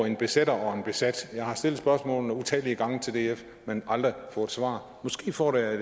en besætter og en besat jeg har stillet spørgsmålene utallige gange til df men aldrig fået svar måske får jeg